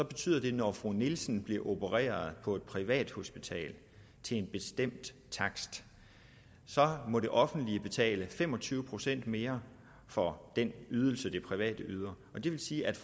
betyder at når fru nielsen bliver opereret på et privathospital til en bestemt takst må det offentlige betale fem og tyve procent mere for den ydelse det private yder det vil sige at